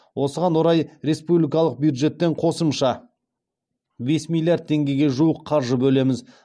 осыған орай республикалық бюджеттен қосымша бес миллиард теңгеге жуық қаржы бөлеміз